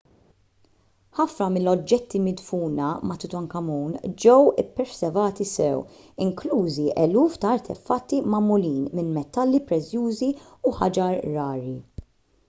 ħafna mill-oġġetti midfuna ma' tutankhamun ġew ippreservati sew inklużi eluf ta' artefatti magħmulin minn metalli prezzjużi u ħaġar rari